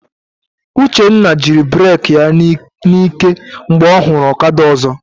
Uchenna jiri bureki ya n'ike mgbe ọ hụrụ ọkada ọzọ.